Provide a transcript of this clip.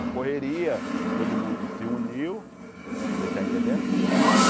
A correria, todo mundo se uniu, você está entendendo?